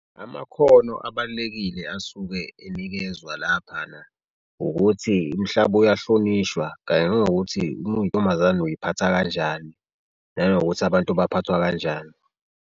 Amakhono abalulekile asuke enikezwa laphana ukuthi umhlaba uyahlonishwa kanye nanokuthi uma uyintombazane uziphatha kanjani nanokuthi abantu baphathwa kanjani.